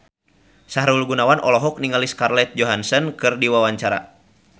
Sahrul Gunawan olohok ningali Scarlett Johansson keur diwawancara